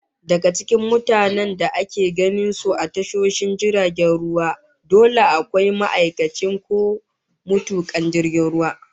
Daga cikin mutanen da ake ganin su a tashoshin jiragen ruwa, dole akwai ma'aikacin ko matukan jirgin ruwa